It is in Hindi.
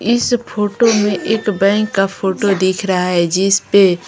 इस फोटो में एक बैंक का फोटो दिख रहा है जिस पे --